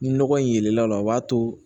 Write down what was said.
Ni nɔgɔ in yelen la o b'a to